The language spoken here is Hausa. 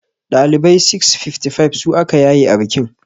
Ɗalibai 655 su aka yaye a bikin.